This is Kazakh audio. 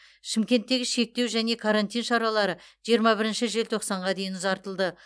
шымкенттегі шектеу және карантин шаралары жиырма бірінші желтоқсанға дейін ұзартылды